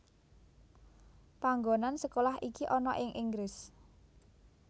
Panggonan sekolah iki ana ing Inggris